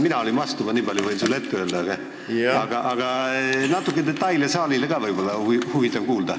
Mina olin vastu, ma niipalju võin sulle ette öelda, aga natuke detaile oleks ka saalil võib-olla huvitav kuulda.